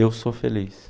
Eu sou feliz.